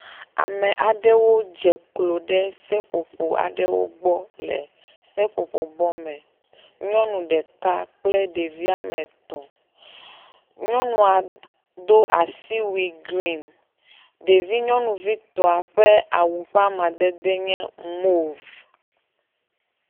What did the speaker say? Ame aɖewo dze klo ɖe seƒoƒo aɖewo gbɔ le seƒoƒobɔ me, nyɔnu ɖeka kple ɖevi woame etɔ̃. Nyɔnua do asiwui green ɖevi nyɔnuvitɔa ƒe awu ƒe amadede nye moeve.